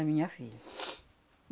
Da minha filha.